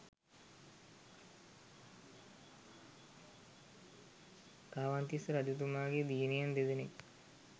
කාවන්තිස්ස රජතුමාගේ දියණියන් දෙදෙනෙක්